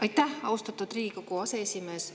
Aitäh, austatud Riigikogu aseesimees!